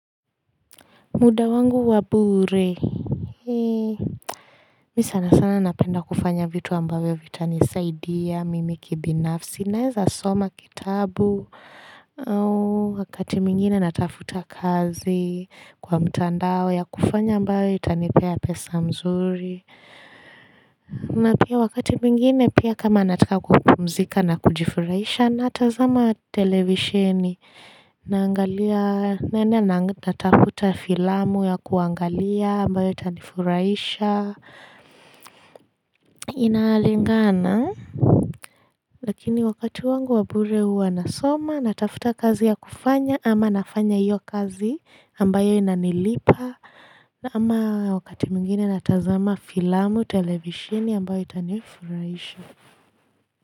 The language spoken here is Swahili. Muda wangu wa bure. Mi sana sana napenda kufanya vitu ambavyo vita nisaidia, mimi kibinafsi, naeza soma kitabu. Wakati mwingine natafuta kazi kwa mtandao ya kufanya ambayo itanipea pesa mzuri. Na pia wakati mwingine pia kama nataka kupumzika na kujifurahisha natazama televisheni. Naangalia naenda natafuta filamu ya kuangalia ambayo itanifuraisha inalingana lakini wakati wangu wa bure huwa nasoma natafuta kazi ya kufanya ama nafanya hiyo kazi ambayo inanilipa ama wakati mwingine natazama filamu televishini ambayo itanifuraisha.